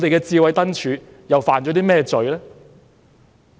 智慧燈柱又犯了甚麼罪呢？